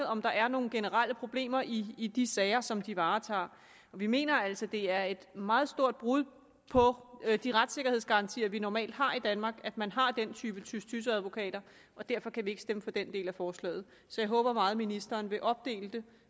om der er nogle generelle problemer i i de sager som de varetager vi mener altså det er et meget stort brud på de retssikkerhedsgarantier vi normalt har i danmark at man har den type tys tys advokater og derfor kan vi ikke stemme for den del af forslaget så jeg håber meget at ministeren vil opdele det